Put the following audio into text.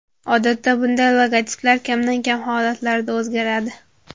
Odatda bunday logotiplar kamdan-kam holatlarda o‘zgaradi.